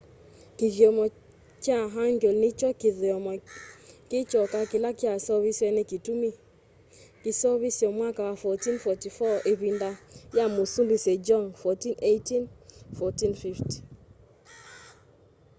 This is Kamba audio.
kithyomo kya hangeul ni kyo kithyomo ki kyoka kila kyaseuvisye na kitumi. kyaseuvisye mwaka wa 1444 ivinda ya musumbi sejong 1418-1450